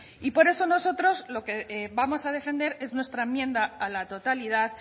y por eso nosotros lo que vamos a defender es nuestra enmienda a la totalidad